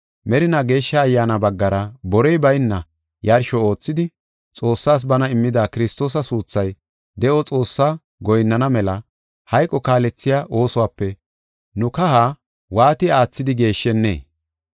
merinaa Geeshsha Ayyaana baggara borey bayna yarsho oothidi, Xoossaas bana immida Kiristoosa suuthay, de7o Xoossaa goyinnana mela hayqo kaalethiya oosuwape nu kaha waati aathidi geeshshennee?